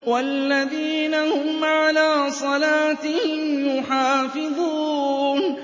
وَالَّذِينَ هُمْ عَلَىٰ صَلَاتِهِمْ يُحَافِظُونَ